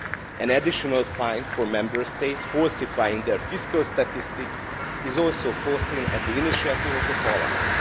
An additional fine for Member States falsifying their fiscal statistics is also provided for, at the initiative of the Parliament.